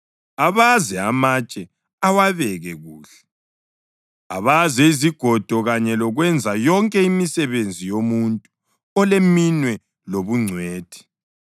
abaze amatshe awabeke kuhle, abaze izigodo kanye lokwenza yonke imisebenzi yomuntu oleminwe lobungcwethi.